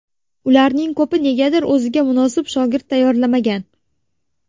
Ularning ko‘pi negadir o‘ziga munosib shogird tayyorlamagan.